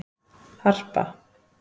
Harpa